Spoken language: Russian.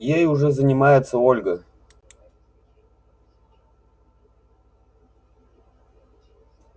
ей уже занимается ольга